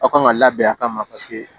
Aw kan ka labɛn a kama paseke